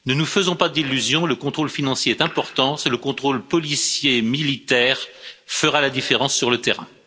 Ne nous faisons pas d'illusions, le contrôle financier est important, c'est le contrôle policier et militaire qui fera la différence sur le terrain.